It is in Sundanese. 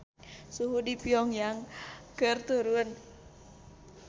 Suhu di Pyong Yang keur turun